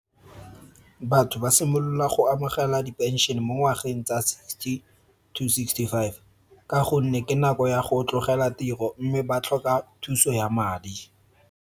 Batho ba simolola go amogela dipenšene mo ngwageng tsa sixty to sixty five. Ka gonne ke nako ya go tlogela tiro mme ba tlhoka thuso ya madi.